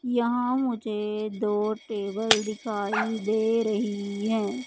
यहां मुझे दो टेबल दिखाई दे रही हैं।